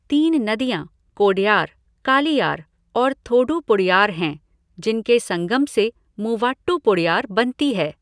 तीन नदियां कोडयार, कालियार और थोडुपुड़यार हैं जिनके संगम से मूवाट्टुपुड़यार बनती है।